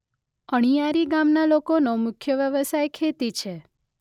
અણીયારી ગામના લોકોનો મુખ્ય વ્યવસાય ખેતી છે.